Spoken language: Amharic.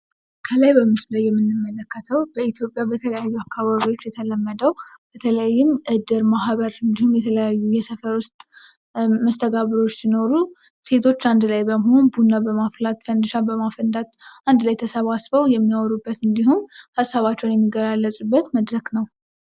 ከላይ በምስሉ ላይ የምንመለከተው በኢትዮጵያ በተለያዩ አካባቢዎች የተለመደው በተለይም እድር ማህበር እንዲሁም የተለያዩ የሰፈር ውስጥ መስተጋብሮች ሲኖሩ ሴቶች አንድ ላይ በመሆን ቡና በማፍላት ፈንዲሻ በማፈንዳት አንድ ላይ ተሰባስበው የሚያወሩበት እንዲሁም ሀሳባቸውን የሚገላለፁበት መድረክ ነው ።